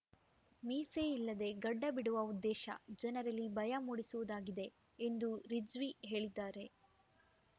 ಮೀಸೆಯಿಲ್ಲದೆ ಗಡ್ಡ ಬಿಡುವ ಉದ್ದೇಶ ಜನರಲ್ಲಿ ಭಯ ಮೂಡಿಸುವುದಾಗಿದೆ ಎಂದು ರಿಜ್ವಿ ಹೇಳಿದ್ದಾರೆ